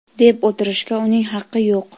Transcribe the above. deb o‘tirishga uning haqqi yo‘q.